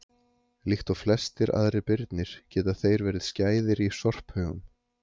líkt og flestir aðrir birnir geta þeir verið skæðir í sorphaugum